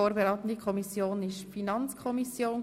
Vorberatende Kommission war die Finanzkommission.